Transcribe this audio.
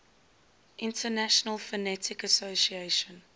international phonetic association